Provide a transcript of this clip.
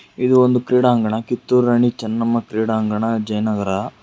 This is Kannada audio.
ಇದು ಒಂದು ಕ್ರೀಡಾಂಗಣ ಕಿತ್ತೂರಾಣಿ ಚೆನ್ನಮ್ಮ ಕ್ರೀಡಾಂಗಣ ಜಯನಗರ.